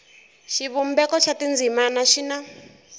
xivumbeko xa tindzimana xi na